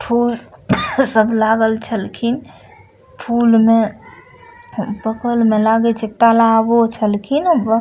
फूल सब लागल छलखिन | फूल मे बगल मे लागे छै तलाबो छल खिन् अ --